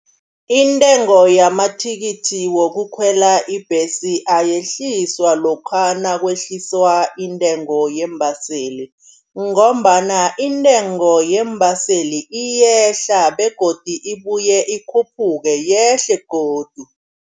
Intengo yamathikithi wokukhwela ibhesi ayehliswa lokha nakwehliswa intengo yeembaseli, ngombana intengo yeembaseli iyehla begodi ibuye ikhuphuke yehle godu.